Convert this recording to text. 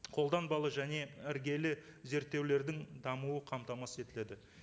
қолданбалы және іргелі зерттеулердің дамуы қамтамасыз етіледі